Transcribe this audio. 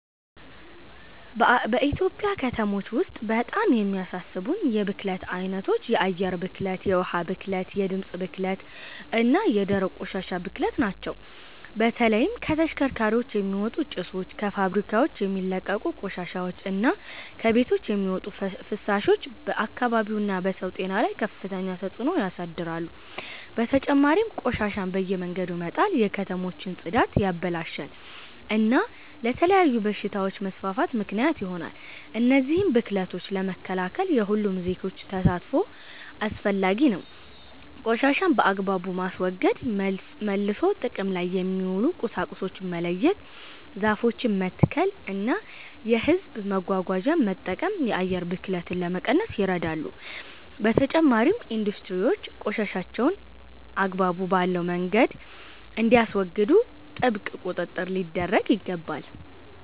በኢትዮጵያ ከተሞች ውስጥ በጣም የሚያሳስቡኝ የብክለት ዓይነቶች የአየር ብክለት፣ የውኃ ብክለት፣ የድምፅ ብክለት እና የደረቅ ቆሻሻ ብክለት ናቸው። በተለይም ከተሽከርካሪዎች የሚወጡ ጭሶች፣ ከፋብሪካዎች የሚለቀቁ ቆሻሻዎች እና ከቤቶች የሚወጡ ፍሳሾች በአካባቢው እና በሰው ጤና ላይ ከፍተኛ ተጽእኖ ያሳድራሉ። በተጨማሪም ቆሻሻን በየመንገዱ መጣል የከተሞችን ጽዳት ያበላሻል እና ለተለያዩ በሽታዎች መስፋፋት ምክንያት ይሆናል። እነዚህን ብክለቶች ለመከላከል የሁሉም ዜጎች ተሳትፎ አስፈላጊ ነው። ቆሻሻን በአግባቡ ማስወገድ፣ መልሶ ጥቅም ላይ የሚውሉ ቁሳቁሶችን መለየት፣ ዛፎችን መትከል እና የሕዝብ መጓጓዣን መጠቀም የአየር ብክለትን ለመቀነስ ይረዳሉ። በተጨማሪም ኢንዱስትሪዎች ቆሻሻቸውን አግባብ ባለው መንገድ እንዲያስወግዱ ጥብቅ ቁጥጥር ሊደረግ ይገባል።